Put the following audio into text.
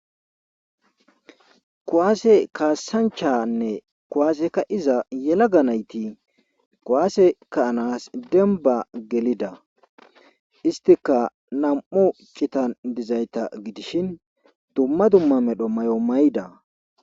Kuwaase kaasanchanne kuwaase kaa7iza yelaga nayti kuwaase ka7anaas dembba gelida istikka nam7u citan dizayta gidishin dumma dumma medho mayo mayida.